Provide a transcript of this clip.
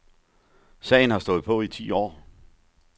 Sagen har stået på i ti år.